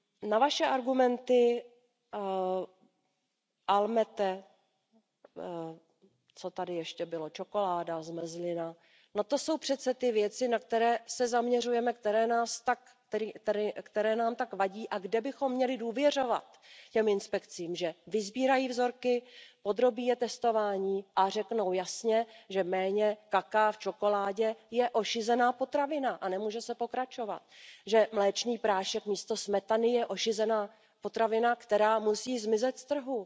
Na vaše argumenty Almette, co tady ještě bylo, čokoláda, zmrzlina, no to jsou přece ty věci, na které se zaměřujeme, které nám tak vadí a kde bychom měli důvěřovat těm inspekcím, že vysbírají vzorky, podrobí je testování a řeknou jasně, že méně kakaa v čokoládě je ošizená potravina a nemůže se pokračovat, že mléčný prášek místo smetany je ošizená potravina, které musí zmizet z trhu